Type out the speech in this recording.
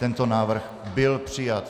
Tento návrh byl přijat.